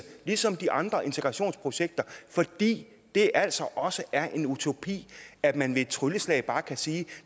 ligesom de andre integrationsprojekter fordi det altså også er en utopi at man ved et trylleslag bare kan sige